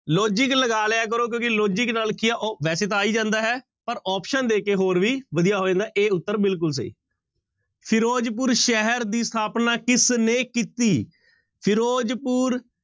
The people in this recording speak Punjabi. Logic ਲਗਾ ਲਿਆ ਕਰੋ ਕਿਉਂਕਿ logic ਨਾਲ ਕੀ ਹੈ ਉਹ ਵੈਸੇ ਤਾਂ ਆ ਹੀ ਜਾਂਦਾ ਹੈ ਪਰ option ਦੇ ਕੇ ਹੋਰ ਵੀ ਵਧੀਆ ਹੋ ਜਾਂਦਾ a ਉੱਤਰ ਬਿਲਕੁਲ ਸਹੀ ਫ਼ਿਰੋਜ਼ਪੁਰ ਸ਼ਹਿਰ ਦੀ ਸਥਾਪਨਾ ਕਿਸਨੇ ਕੀਤੀ? ਫ਼ਿਰੋਜ਼ਪੁਰ